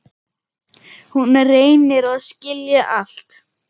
Hún reynir að skilja allt.